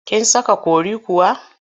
Kin saka curry kuwa?